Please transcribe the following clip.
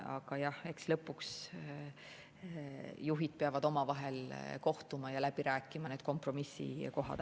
Aga eks lõpuks juhid peavad omavahel kohtuma ja läbi rääkima need kompromissikohad.